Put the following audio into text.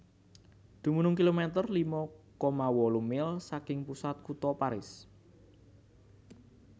Dumunung kilometer lima koma wolu mil saking pusat kutha Paris